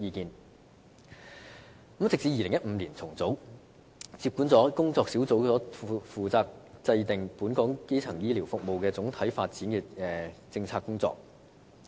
健康與醫療發展諮詢委員會在2015年重組，接管了工作小組負責制訂本港基層醫療服務總體發展政策的工作。